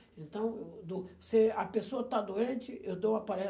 Então, eu do se a pessoa está doente, eu dou a